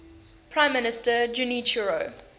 prime minister junichiro